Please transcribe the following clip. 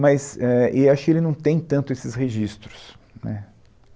Mas, éh, e acho que ele não tem tanto esses registros, né.